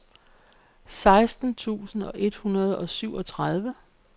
seksten tusind et hundrede og syvogtredive